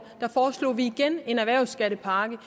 foreslog vi igen en erhvervsskattepakke